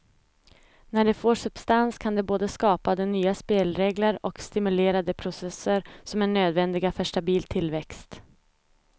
När det får substans kan det både skapa de nya spelregler och stimulera de processer som är nödvändiga för stabil tillväxt.